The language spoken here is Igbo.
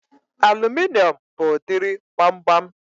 Aluminium bụ udiri gbamgbam